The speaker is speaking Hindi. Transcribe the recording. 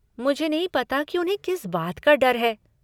मुझे नहीं पता कि उन्हें किस बात का डर है।